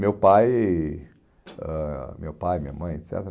Meu pai, ãh, meu pai, minha mãe, et cetera.